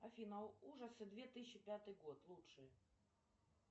афина ужасы две тысячи пятый год лучшие